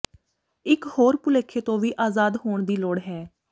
ਇਕ ਹੋਰ ਭੁਲੇਖੇ ਤੋਂ ਵੀ ਆਜ਼ਾਦ ਹੋਣ ਦੀ ਲੋੜ ਹੈ